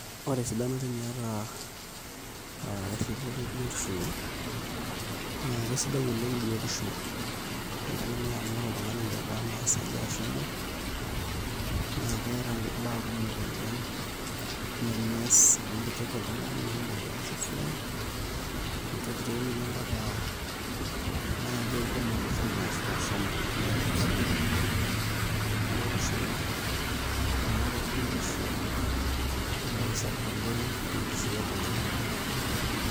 Ore esidano teniata aa erripoto ebiotisho naa sidai oleng' toltung'ani amu ore oltung'ani letaa naa esaja ashu emuoi naa keeta mbaa kumok oleng' nemees amu mitoki oltung'ani naa omuoi aas esiai mitoki tooi ninye mpaka naaji aidim atotona ashu ashomo, neeku sidai tenirrip biotisho ino amu ore biotisho naa entoki sapuk oleng' tenkishui oltung'ani.